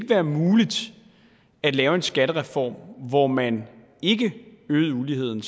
være muligt at lave en skattereform hvor man ikke øgede uligheden